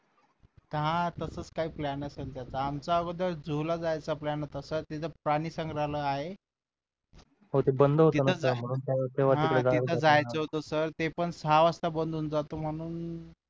हा तसाच काही plan असलं त्याचा आमचा अगोदर zoo ला जायचा plan होता सर तिथं प्राणी संग्रहालय आहे हे तिथं जायचं होत सर ते पण सहा वाजता बंद होऊन जात म्हणून